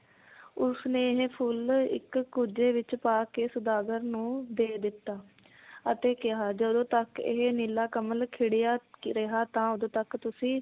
ਉਸਨੇ ਇਹ ਫੁਲ ਇੱਕ ਕੁੱਜੇ ਵਿਚ ਪਾ ਕੇ ਸੌਦਾਗਰ ਨੂੰ ਦੇ ਦਿੱਤਾ ਅਤੇ ਕਿਹਾ ਜਦੋਂ ਤੱਕ ਇਹ ਨੀਲਾ ਕਮਲ ਖਿੜਿਆ ਰਿਹਾ ਤਾਂ ਉਦੋਂ ਤਕ ਤੁਸੀਂ